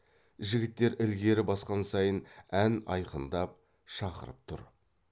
жігіттер ілгері басқан сайын ән айқындап шақырып тұр